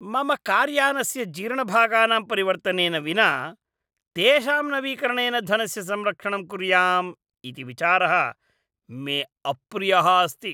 मम कार्यानस्य जीर्णभागानां परिवर्तनेन विना तेषां नवीकरणेन धनस्य संरक्षणम् कुर्याम् इति विचारः मे अप्रियः अस्ति।